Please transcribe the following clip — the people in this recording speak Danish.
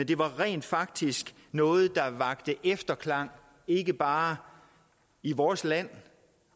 det var rent faktisk noget der vakte efterklang ikke bare i vores land